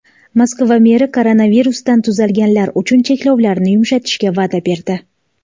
Moskva meri koronavirusdan tuzalganlar uchun cheklovlarni yumshatishga va’da berdi.